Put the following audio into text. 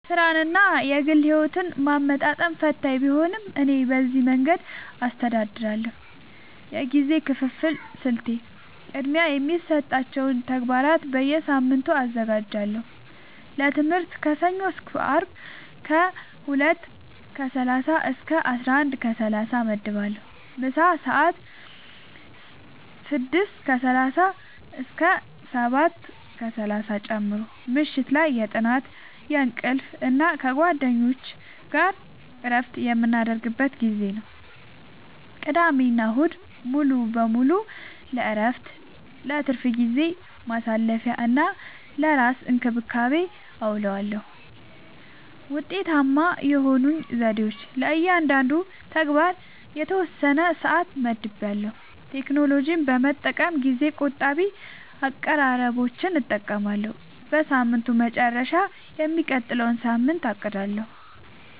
ሥራንና የግል ሕይወትን ማመጣጠን ፈታኝ ቢሆንም፣ እኔ በዚህ መንገድ አስተዳድራለሁ፦ የጊዜ ክፍፍል ስልቴ፦ · ቅድሚያ የሚሰጣቸውን ተግባራት በየሳምንቱ አዘጋጃለሁ · ለትምህርት ከሰኞ እስከ አርብ ከ 2:30-11:30 እመድባለሁ (ምሳ ሰአት 6:30-7:30 ጨምሮ) · ምሽት ላይ የጥናት፣ የእንቅልፍ እና ከጓደኞች ጋር እረፍት የምናደርግበት ጊዜ ነው። · ቅዳሜና እሁድ ሙሉ በሙሉ ለእረፍት፣ ለትርፍ ጊዜ ማሳለፊ፣ እና ለራስ እንክብካቤ አዉለዋለሁ። ውጤታማ የሆኑኝ ዘዴዎች፦ · ለእያንዳንዱ ተግባር የተወሰነ ሰዓት መድቤያለሁ · ቴክኖሎጂን በመጠቀም ጊዜ ቆጣቢ አቀራረቦችን እጠቀማለሁ · በሳምንቱ መጨረሻ የሚቀጥለውን ሳምንት አቅዳለሁ